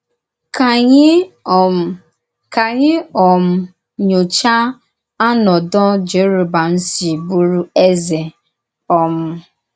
Ka ànyì um Ka ànyì um nyòchá ànòdò Jèròbọ̀àm sī bùrù Ézè. um